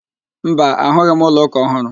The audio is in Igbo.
Mba, ahụghị m ụlọ ụka ọhụrụ